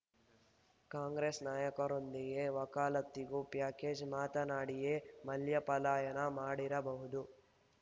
ಕಾಂಗ್ರೆಸ್‌ ನಾಯಕರೊಂದಿಗೆ ವಕಾಲತ್ತಿಗೂ ಪ್ಯಾಕೇಜ್‌ ಮಾತನಾಡಿಯೇ ಮಲ್ಯ ಪಲಾಯನ ಮಾಡಿರಬಹುದು